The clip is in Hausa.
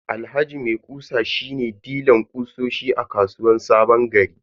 Alhaji maikusa shi ne dilan kutsosi a kasuwan sabongari.